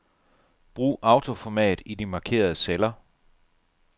Brug autoformat i de markerede celler.